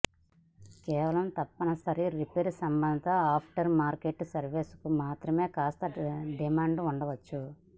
కేవలం తప్పనిసరి రిపేర్ సంబంధ ఆఫ్టర్ మార్కెట్ సర్వీసులకు మాత్రమే కాస్త డిమాండ్ ఉండవచ్చు